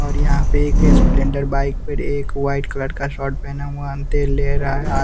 और यहाँ पे एक स्पलेंडर बाइक पर एक वाइट कलर का शॉर्ट पहना हुआ अंतेल ले रहा है आ --